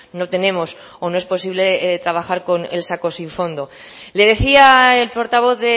no tenemos o no es posible trabajar con el saco sin fondo le decía el portavoz